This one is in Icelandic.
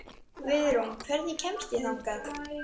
Guðrún, hvernig kemst ég þangað?